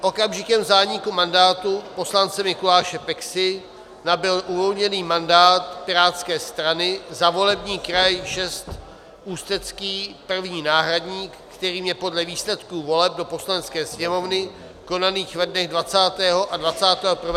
Okamžikem zániku mandátu poslance Mikuláše Peksy nabyl uvolněný mandát pirátské strany za volební kraj 6 Ústecký první náhradník, kterým je podle výsledku voleb do Poslanecké sněmovny konaných ve dnech 20. a 21. října 2017 pan František Navrkal.